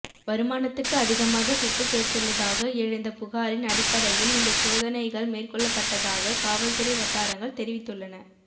வருமானத்துக்கு அதிகமாக சொத்து சேர்த்துள்ளதாக எழுந்த புகாரின் அடிப்படையில் இந்தச் சோதனைகள் மேற்கொள்ளப்பட்டதாக காவல்துறை வட்டாரங்கள் தெரிவித்துள்ளன